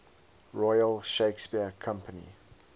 royal shakespeare company